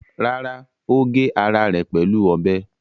Rárá, ó gé ara rẹ̀ pẹ̀lú ọ̀bẹ.